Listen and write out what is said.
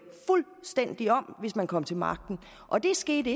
fuldstændig om hvis man kom til magten og det skete